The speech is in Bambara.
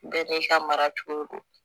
Bɛɛ n'i ka mara cogo don